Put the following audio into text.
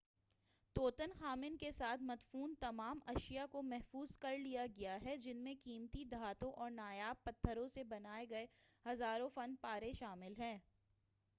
طوطن خامن کے ساتھ مدفون تمام اشیاء کو محفوظ کرلیا گیا ہے جن میں قیمتی دھاتوں اور نایاب پتّھروں سے بنائے گئے ہزاروں فن پارے شامِل ہیں